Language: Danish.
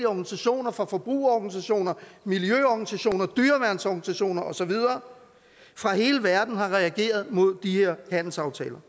organisationer fra forbrugerorganisationer miljøorganisationer dyreværnsorganisationer og så videre fra hele verden har reageret mod de her handelsaftaler